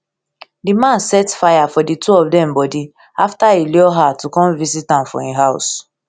di man set fire for di two of dem bodi afta e lure her to her to come visit am for im house